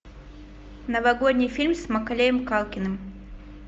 новогодний фильм с маколеем калкиным